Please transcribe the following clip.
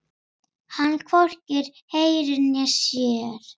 Hann hvorki heyrir né sér.